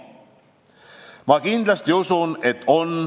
Ma kindlasti usun, et on.